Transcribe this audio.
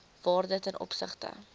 waarde ten opsigte